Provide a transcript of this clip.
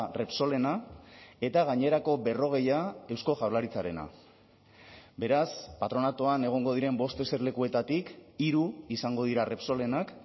repsolena eta gainerako berrogeia eusko jaurlaritzarena beraz patronatuan egongo diren bost eserlekuetatik hiru izango dira repsolenak